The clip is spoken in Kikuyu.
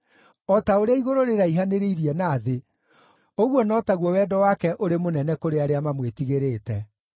O ta ũrĩa igũrũ rĩraihanĩrĩirie na thĩ, ũguo no taguo wendo wake ũrĩ mũnene kũrĩ arĩa mamwĩtigĩrĩte;